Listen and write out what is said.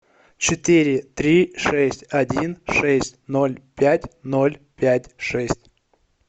четыре три шесть один шесть ноль пять ноль пять шесть